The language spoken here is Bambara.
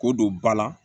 K'o don ba la